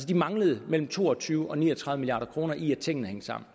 de manglede mellem to og tyve milliard og ni og tredive milliard kroner i at tingene hang sammen